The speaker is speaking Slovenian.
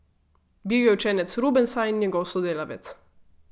Bil je učenec Rubensa in njegov sodelavec.